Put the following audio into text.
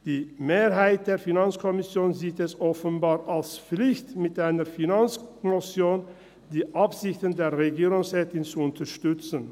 Die Mehrheit der FiKo sieht es offenbar als Pflicht, mit einer Finanzmotion die Absichten der Regierungsrätin zu unterstützen.